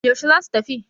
yaushe za su tafi?